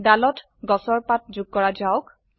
দালত গাছৰ পাত যোগ কৰা যাওক